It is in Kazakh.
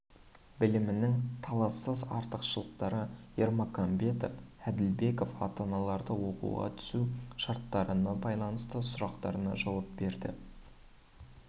білімнің талассыз артықшылықтары ермаканбетов әділбеков ата-аналардың оқуға түсу шарттарына байланысты сұрақтарына жауап берді